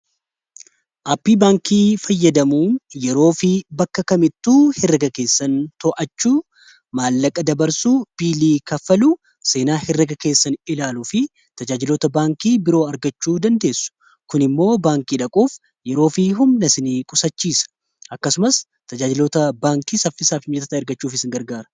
aapii baankii fayyadamuun yeroo fi bakka kamittuu heraaga keessan too'achuu maallaqa dabarsuu biilii kaffaluu seenaa hereega keessan ilaaluu fi tajaajilotaa baankii biroo argaachuu dandeessu kun immoo baankii dhaquuf yeroo fi humnaa sinii qusaachiisa akkasumaas tajaajiltoota baankii saffisaafi mijaata ergachuuf isin gargaara